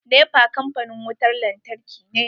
NEPA kampanin wutan lantarki ne.